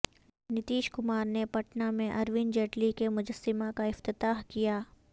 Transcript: نتیش کمار نے پٹنہ میں ارون جیٹلی کے مجسمہ کا افتتاح کیا